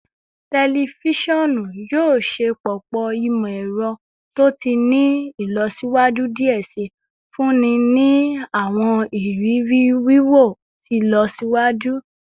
Tẹlifisiọnu yoo ṣepọpọ imọ-ẹrọ to ti ni ilọsiwaju diẹ sii, nfunni ni awọn iriri wiwo ti ilọsiwaju